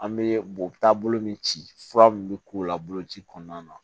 An bɛ bɔ taabolo min ci fura min bɛ k'o la boloci kɔnɔna na